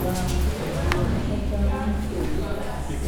Vantu vakashata masoro